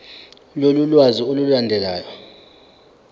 lolu lwazi olulandelayo